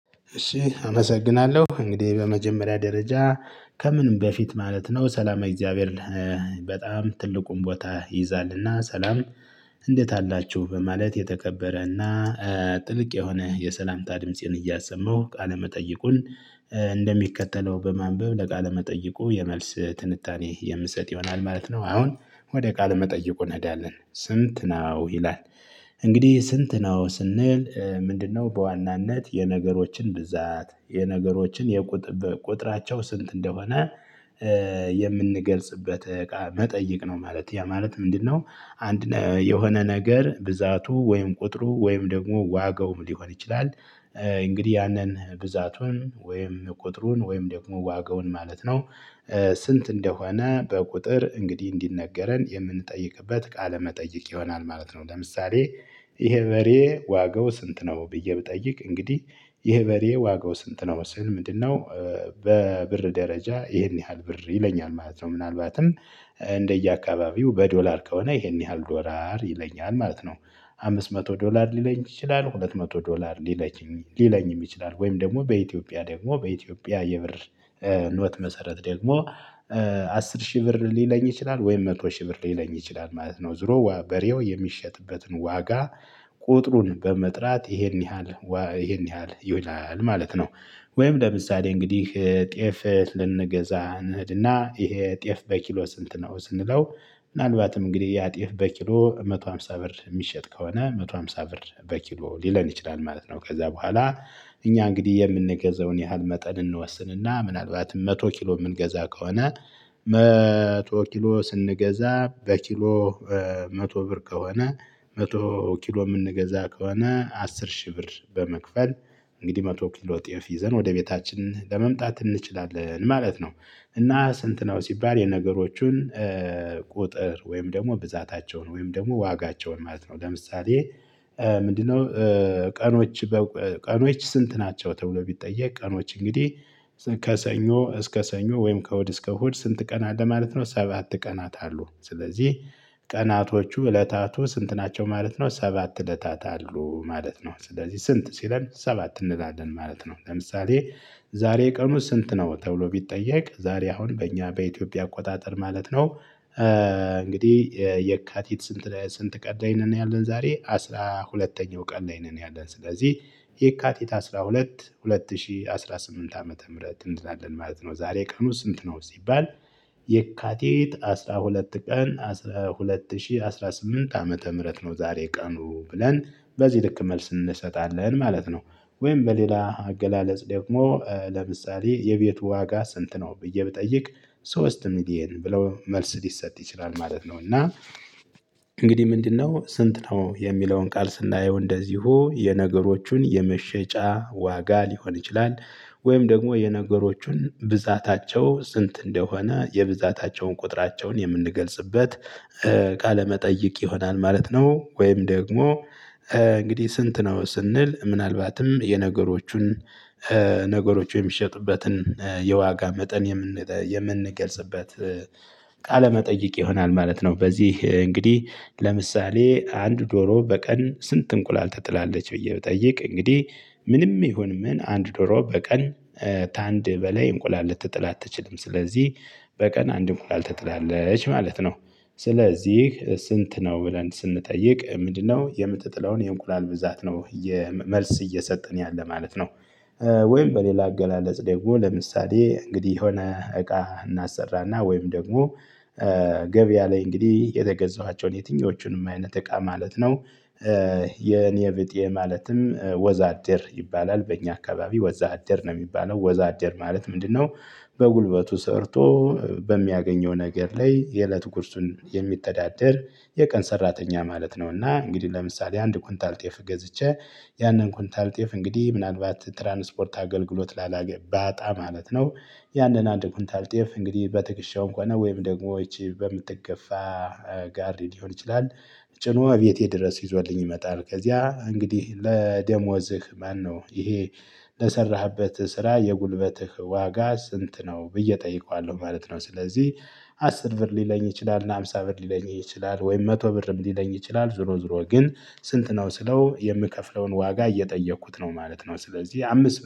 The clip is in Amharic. እሺ አመሰግናለሁ እንግዲህ በመጀመሪያ ደረጃ ከምንም በፊት ማለት ነው ሰላማዊ እግዚአብሔር በጣም ትልቁን ቦታ ይይዛልና ሰላም። እንዴት አላችሁ በማለት የተከበረና ጥልቅ የሆነ የሰላምታ ድምፄን እያሰማሁ ቃለመጠይቁን እንደሚከተለው በማንበብ ለቃለመጠይቁ የመልስ ትንታኔ የምሰጥ ይሆናል ማለት ነው። አሁን ወደ ቃለ መጠይቁ እንሄዳለን ስንት ነው ይላል? እንግዲህ ስንት ነው ስንል ምንድነው በዋናነት የነገሮችን ብዛት የነገሮችን የቁጥር ቁጥራቸው ስንት እንደሆነ የምንገልጽበት እቃ መጠየቅ ነው። ማለት ያ ማለት ምንድነው? አንድ የሆነ ነገር ብዛቱ ወይም ቁጥሩ ወይም ደግሞ ዋጋውም ሊሆን ይችላል። እንግዲህ ያንን ብዛቱን ወይም ቁጥሩን ወይም ደግሞ ዋጋውን ማለት ነው። ስንት እንደሆነ በቁጥር እንግዲህ እንዲነገረን የምንጠይቅበት ቃለ መጠየቅ ይሆናል ማለት ነው። ለምሳሌ ይሄ በሬ ዋጋው ስንት ነው ብዬ ብጠይቅ እንግዲህ ይሄ በሬ ዋጋው ስንት ነው ስል ምንድነው? በብር ደረጃ ይሄን ያህል ብር ይለኛል ማለት ነው። ምናልባትም እንደየአካባቢው በዶላር ከሆነ ይሄን ያህል ዶላር ይለኛል ማለት ነው። አምስት መቶ ዶላር ሊለኝ ይችላል ሁለት መቶ ዶላር። ሊለኝም ይችላል ወይም ደግሞ በኢትዮጵያ ደግሞ በኢትዮጵያ የብር ኖት መሰረት ደግሞ አስር ሺህ ብር ሊለኝ ይችላል ወይም መቶ ሺህ ብር ሊለኝ ይችላል ማለት ነው። ዞሮ በሬው የሚሸጥበትን ዋጋ ቁጥሩን በመጥራት ይሄን ያህል ይሄን ያህል ይላል ማለት ነው። ወይም ለምሳሌ እንግዲህ ጤፍ ልንገዛ እንሄድና ይሄ ጤፍ በኪሎ ስንት ነው? ስንለው ምናልባትም እንግዲህ ያጤፍ በኪሎ መቶ ሃምሳ ብር የሚሸጥ ከሆነ መቶ ሃምሳ ብር በኪሎ ሊለን ይችላል ማለት ነው። ከዛ በኋላ እኛ እንግዲህ የምንገዛውን ያህል መጠን እንወስንና ምናልባትም መቶ ኪሎ የምንገዛ ከሆነ መቶ ኪሎ ስንገዛ በኪሎ መቶ ብር ከሆነ መቶ ኪሎ የምንገዛ ከሆነ አስር ሺህ ብር በመክፈል እንግዲህ መቶ ኪሎ ጤፍ ይዘን ወደ ቤታችን ለመምጣት እንችላለን ማለት ነው። እና ስንት ነው ሲባል የነገሮቹን ቁጥር ወይም ደግሞ ብዛታቸውን ወይም ደግሞ ዋጋቸውን ማለት ነው። ለምሳሌ ምንድነው? ቀኖች ቀኖች ስንት ናቸው ተብሎ ቢጠየቅ ቀኖች እንግዲህ ከሰኞ እስከ ሰኞ ወይም ከእሁድ እስከ እሁድ ስንት ቀን አለ ማለት ነው። ሰባት ቀናት አሉ ስለዚህ ቀናቶቹ እለታቱ ስንት ናቸው ማለት ነው ሰባት እለታት አሉ ማለት ነው። ስለዚህ ስንት ሲለን ሰባት እንላለን ማለት ነው። ለምሳሌ ዛሬ ቀኑ ስንት ነው ተብሎ ቢጠየቅ ዛሬ አሁን በእኛ በኢትዮጵያ አቆጣጠር ማለት ነው። እንግዲህ የካቲት ስንት ቀን ላይ ነን ያለን ዛሬ አስራ ሁለተኛው ቀን ላይ ነን ያለን ስለዚህ የካቲት 12 2018 ዓመተ ምህረት እንላለን ማለት ነው። ዛሬ ቀኑ ስንት ነው? ሲባል የካቲት አስራ ሁለት ቀን ሁለት ሺህ አስራ ስምንት ዓመተ ምህረት ነው ዛሬ ቀኑ ብለን በዚህ ልክ መልስ እንሰጣለን ማለት ነው። ወይም በሌላ አገላለጽ ደግሞ ለምሳሌ የቤቱ ዋጋ ስንት ነው? ብዬ ብጠይቅ ሶስት ሚሊየን ብለው መልስ ሊሰጥ ይችላል ማለት ነው። እና እንግዲህ ምንድነው ስንት ነው የሚለውን ቃል ስናየው እንደዚሁ የነገሮቹን የመሸጫ ዋጋ ሊሆን ይችላል። ወይም ደግሞ የነገሮቹን ብዛታቸው ስንት እንደሆነ የብዛታቸውን ቁጥራቸውን የምንገልጽበት ቃለመጠይቅ ይሆናል ማለት ነው። ወይም ደግሞ እንግዲህ ስንት ነው ስንል ምናልባትም የነገሮቹን ነገሮች የሚሸጡበትን የዋጋ መጠን የምንገልጽበት ቃለ መጠይቅ ይሆናል ማለት ነው። በዚህ እንግዲህ ለምሳሌ አንድ ዶሮ በቀን ስንት እንቁላል ትጥላለች ብዬ ብጠይቅ እንግዲህ ምንም ይሁን ምን አንድ ዶሮ በቀን ከአንድ በላይ እንቁላል ልትጥል አትችልም። ስለዚህ በቀን አንድ እንቁላል ተጥላለች ማለት ነው። ስለዚህ ስንት ነው ብለን ስንጠይቅ ምንድነው የምትጥለውን የእንቁላል ብዛት ነው። መልስ እየሰጠን ያለ ማለት ነው። ወይም በሌላ አገላለጽ ደግሞ ለምሳሌ እንግዲህ የሆነ እቃ እናሰራና ወይም ደግሞ ገበያ ላይ እንግዲህ የገዛኋቸውን የትኞቹንም አይነት እቃ ማለት ነው። የኔ ቢጤ ማለትም ወዛደር ይባላል በእኛ አካባቢ ወዛደር ነው የሚባለው ወዛደር ማለት ምንድነው? በጉልበቱ ሰርቶ በሚያገኘው ነገር ላይ የእለት ጉርሱን የሚተዳደር የቀን ሰራተኛ ማለት ነውና። እንግዲህ ለምሳሌ አንድ ኩንታል ጤፍ ገዝቼ ያንን ኩንታል ጤፍ እንግዲህ ምናልባት ትራንስፖርት አገልግሎት ባጣ ማለት ነው። ያንን አንድ ኩንታል ጤፍ እንግዲህ በትክሸውም ሆነ ወይም ደግሞ ይቺ በምትገፋ ጋር ሊሆን ይችላል። ጭኖ ቤቴ ድረስ ይዞልኝ ይመጣል። ከዚያ እንግዲህ ለደሞዝህ ማነው ይሄ ለሰራህበት ስራ የጉልበትህ ዋጋ ስንት ነው ብዬ እጠይቀዋለሁ ማለት ነው። ስለዚህ አስር ብር ሊለኝ ይችላል እና ሃምሳ ብር ሊለኝ ይችላል ወይም መቶ ብርም ሊለኝ ይችላል ዙሮ ዙሮ ግን ስንት ነው ስለው የምከፍለውን ዋጋ እየጠየኩት ነው ማለት ነው። ስለዚህ አምስት